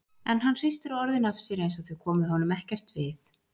En hann hristir orðin af sér einsog þau komi honum ekkert við.